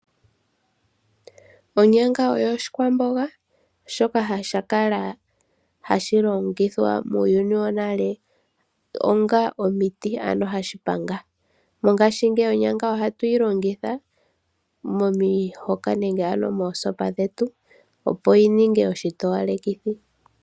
Onyanga oyo oshikwamboga shoka sha kala hashi longithwa muuyuni wonale onga omiti, ano hashi panga. Mongashingeyi onyanga ohatu yi longitha momihoka nenge ano moosopa dhetu, opo yi ninge oshitowalekithi.